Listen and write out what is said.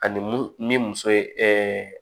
Ani mun ni muso ye